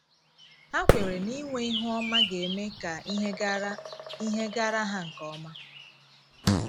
Ha kweere na inwe ihu ọma ga - eme ka ihe gaara ihe gaara ha nke ọma.